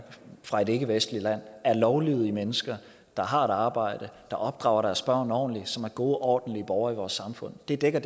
fra et ikkevestligt land er lovlydige mennesker der har et arbejde der opdrager deres børn ordentligt og som er gode og ordentlige borgere i vores samfund det dækker